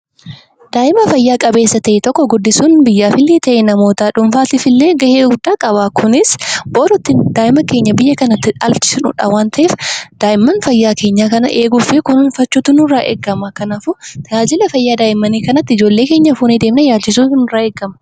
Daa'ima fayyaa qabeessa ta'e tokko guddisuun biyyaafillee ta'ee namoota dhuunfaatiifillee gahee guddaa qaba kunis boritti daa'ima keenya biyya kana akka dhaalchisnuudha waan ta'eef daa'imman fayyaa kana eeguu fi kunuunfachuutu nurraa eegama. Kanaaf tajaajila fayyaa daa'immanii kanatti daa'imman keenya fuunee deemnee yaalchisuutu nurraa eegama.